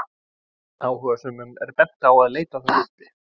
Áhugasömum er bent á að leita þær uppi.